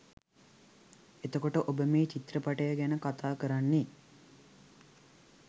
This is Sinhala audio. එතකොට ඔබ මේ චිත්‍රපටය ගැන කතා කරන්නේ